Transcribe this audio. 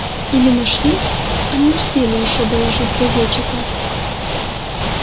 или нашли а не успели ещё доложить газетчикам